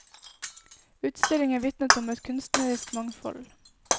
Utstillingen vitnet om et kunstnerisk mangfold.